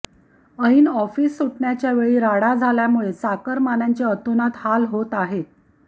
ऐन आॅफिस सुटण्याच्या वेळी राडा झाल्यामुळे चाकरमान्याचे अतोनात हाल होत आहे